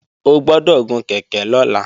O gbọ́dọ̀ gun kèké lọ́la!